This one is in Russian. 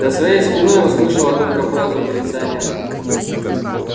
за своей спиной услышала только фразу милиционера